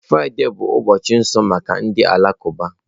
Fraịde bụ ụbọchị nsọ maka ndị Alakụba.